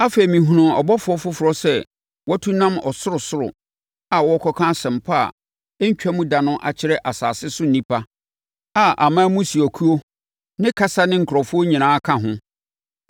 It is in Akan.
Afei mehunuu ɔbɔfoɔ foforɔ sɛ watu nam ɔsorosoro a ɔrekɔka Asɛmpa a ɛntwam da no akyerɛ asase so nnipa a aman ne mmusuakuo ne kasa ne nkurɔfoɔ nyinaa ka ho.